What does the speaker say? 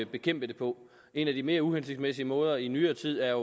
bekæmpe det på en af de mere uhensigtsmæssige måder i nyere tid er